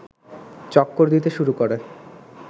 চক্কর দিতে শুরু করে